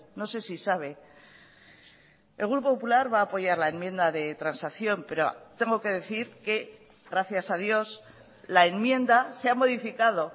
no sé si sabe el grupo popular va a apoyar la enmienda de transacción pero tengo que decir que gracias a dios la enmienda se ha modificado